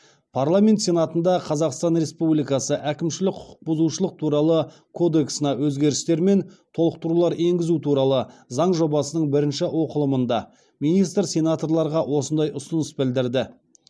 парламент сенатында қазақстан республикасы әкімшілік құқықбұзушылық туралы кодексіне өзгерістер мен толықтырулар енгізу туралы заң жобасының бірінші оқылымында министр сенаторларға осындай ұсыныс білдірді